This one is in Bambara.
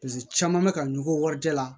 Paseke caman bɛ ka ɲugu warijɛ la